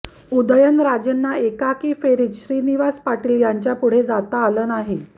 उदयनराजेंना एकाही फेरीत श्रीनिवास पाटील यांच्यापुढे जाता आलं नाही